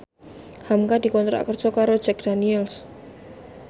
hamka dikontrak kerja karo Jack Daniels